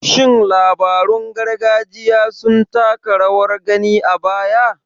Shin labarun gargajiya sun taka rawar gani a baya?